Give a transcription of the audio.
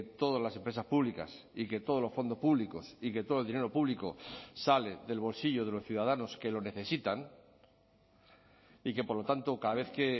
todas las empresas públicas y que todos los fondos públicos y que todo el dinero público sale del bolsillo de los ciudadanos que lo necesitan y que por lo tanto cada vez que